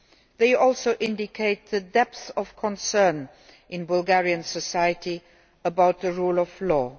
They also indicate the depth of concern in Bulgarian society about the rule of law.